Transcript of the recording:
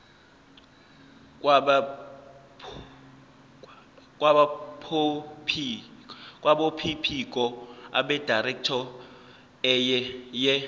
kwabophiko abedirectorate ye